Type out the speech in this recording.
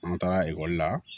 An bɛ taga ekɔli la